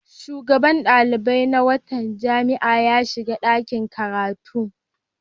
Shugaban ɗalibai na wata jami'a ya shiga ɗakin karatu.